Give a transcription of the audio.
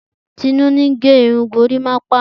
Tinu ni ge irun Gorimapa.